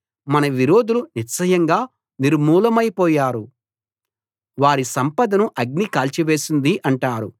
మన విరోధులు నిశ్చయంగా నిర్మూలమైపోయారు వారి సంపదను అగ్ని కాల్చివేసింది అంటారు